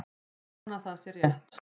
Ég vona að það sé rétt.